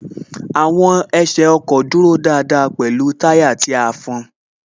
Àwọn ẹsẹ ọkọ̀ dúró dáadáa pẹ̀lú táyà tí a fọn